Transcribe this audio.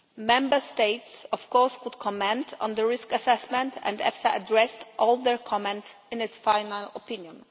Member States, of course, were able to comment on the risk assessment, and EFSA has addressed all their comments in its final opinion.